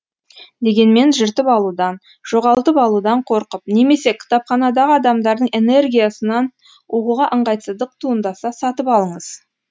дегенмен жыртып алудан жоғалтып алудан қорқып немесе кітапханадағы адамдардың энергиясынан оқуға ыңғайсыздық туындаса сатып алыңыз